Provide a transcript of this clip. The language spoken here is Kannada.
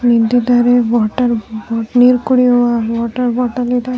ನಿಂತಿದ್ದಾರೆ ಬೋಟಲ್ ನೀರ್ ಕುಡಿಯುವವರ ವಾಟರ್ ಬೋಟಲ್ ಇದೆ --